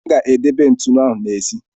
M ga-edebe ntụnụ ahụ n'èzí.